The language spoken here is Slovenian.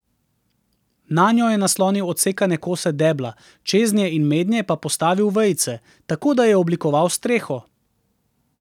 Nanjo je naslonil odsekane kose debla, čeznje in mednje pa postavil vejice, tako da je oblikoval streho.